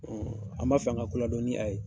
Ɔn an ba fɛ an ka koladɔ ni a ye.